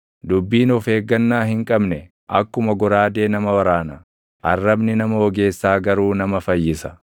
Dubbiin of eeggannaa hin qabne // akkuma goraadee nama waraana; arrabni nama ogeessaa garuu nama fayyisa.